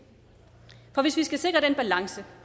for hvis vi skal sikre den balance